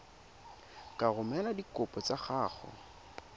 ka romela dikopo tsa gago